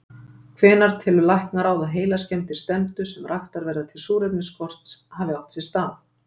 Hvenær telur læknaráð, að heilaskemmdir stefndu, sem raktar verða til súrefnisskorts, hafi átt sér stað?